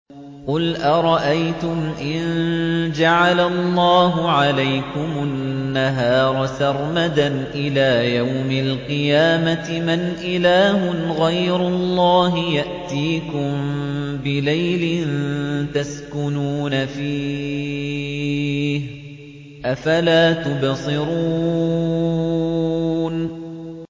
قُلْ أَرَأَيْتُمْ إِن جَعَلَ اللَّهُ عَلَيْكُمُ النَّهَارَ سَرْمَدًا إِلَىٰ يَوْمِ الْقِيَامَةِ مَنْ إِلَٰهٌ غَيْرُ اللَّهِ يَأْتِيكُم بِلَيْلٍ تَسْكُنُونَ فِيهِ ۖ أَفَلَا تُبْصِرُونَ